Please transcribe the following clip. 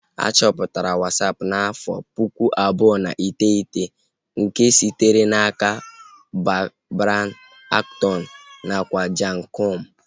A chọpụtara Wasapu n'afọ pụkụ abụọ na iteghete nke sitere n'aka Brian Acton nakwa Jan Koum